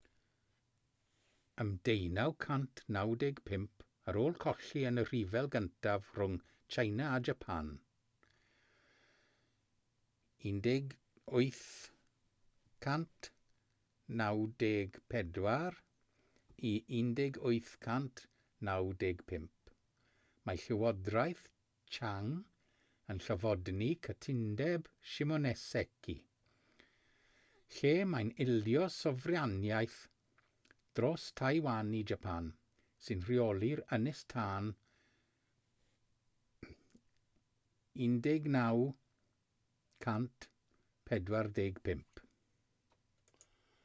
ym 1895 ar ôl colli yn y rhyfel gyntaf rhwng tsieina a japan 1894-1895 mae llywodraeth qing yn llofnodi cytundeb shimonoseki lle mae'n ildio sofraniaeth dros taiwan i japan sy'n rheoli'r ynys tan 1945